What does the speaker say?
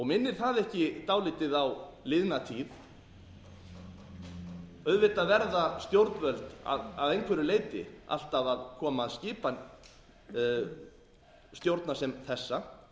minnir það ekki dálítið á liðna tíð auðvitað verða stjórnvöld að einhverja leyti alltaf að koma að skipan stjórna sem þessa